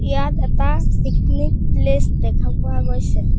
ইয়াত এটা picnic place দেখা পোৱা গৈছে।